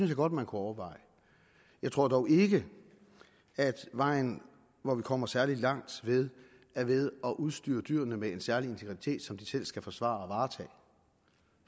jeg godt man kunne overveje jeg tror dog ikke at en vej hvor vi kommer særlig langt er ved at udstyre dyrene med en særlig integritet som de selv skal forsvare